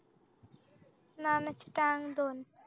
नाना ची टांग दोन